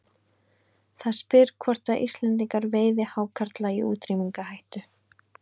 Það spyr hvort að Íslendingar veiði hákarla í útrýmingarhættu.